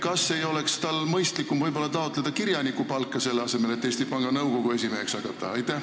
Kas tal ei oleks mõistlikum taotleda kirjanikupalka, selle asemel et Eesti Panga Nõukogu esimeheks hakata?